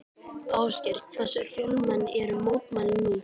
Ásgeir, hversu fjölmenn eru mótmælin nú?